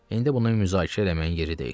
İndi bunu müzakirə eləməyin yeri deyil.